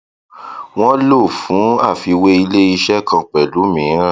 wọn lò fún àfiwé iléiṣẹ kan pẹlú mìíràn